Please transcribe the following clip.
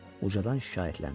Ucadan şikayətləndi.